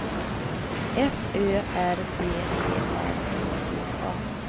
F Ö R B E R E D A